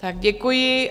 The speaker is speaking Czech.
Tak děkuji.